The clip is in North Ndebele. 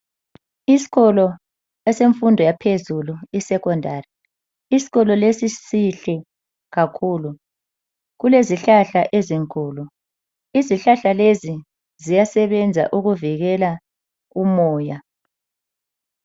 Isikolo esemfundo yaphezulu isekhondari. Isikolo lesi sihle kakhulu. Kulezihlahla ezinkulu. Izihlahla lezi ziyasebenza ukuvikela umoya.